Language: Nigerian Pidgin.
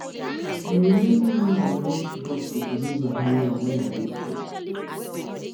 um I remember how I dey always rush to submit my homework wen I dey school